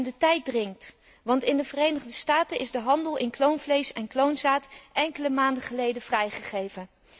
De tijd dringt, want in de Verenigde Staten is de handel in kloonvlees en kloonzaad enkele maanden geleden vrijgegeven.